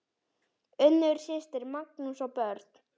Unnur systir, Magnús og börn.